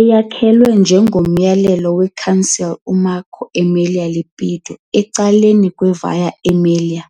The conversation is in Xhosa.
Eyakhelwe ngomyalelo we- consul uMarco Emilio Lepido ecaleni kwe- Via Emilia,